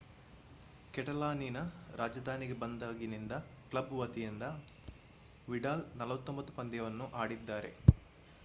ಕೆಟಲಾನಿನ ರಾಜಧಾನಿಗೆ ಬಂದಾಗಿನಿಂದ ಕ್ಲಬ್ ವತಿಯಿಂದ ವಿಡಾಲ್ 49 ಪಂದ್ಯಗಳನ್ನು ಆಡಿದ್ದಾರೆ